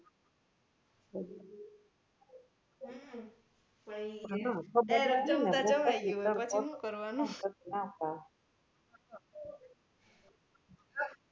હમ પેહલા જમતા જમાઈ ગ્યુ પછી હું કરવાનુ